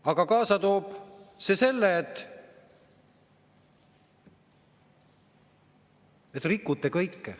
Aga kaasa toob see selle, et rikute kõike.